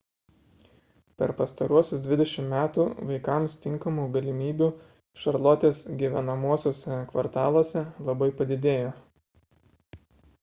per pastaruosius 20 metų vaikams tinkamų galimybių šarlotės gyvenamuosiuose kvartaluose labai padidėjo